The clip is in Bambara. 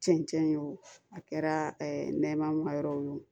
Cɛncɛn ye wo a kɛra nɛmayɔrɔ ye wo